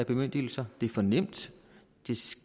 bemyndigelser det er for nemt